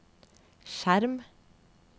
skjerm